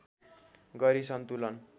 गरी सन्तुलन